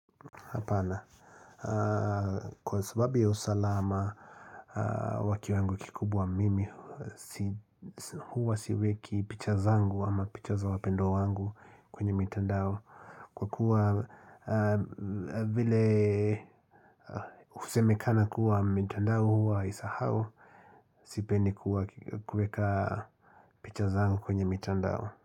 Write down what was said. Kwa sababu ya usalama wa kiwango kikubwa mimi Huwa siweki picha zangu ama picha za wapendwa wangu kwenye mitandao Kwa kuwa vile husemekana kuwa mitandao huwa haisahau Sipendi kuweka picha zangu kwenye mitandao.